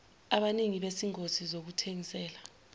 abanini bezingosi zokuthengisela